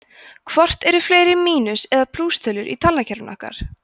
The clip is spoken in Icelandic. hvort eru fleiri mínus eða plústölur í talnakerfi okkar